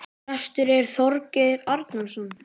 Prestur er Þorgeir Arason.